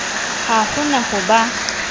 ha ho na ho ba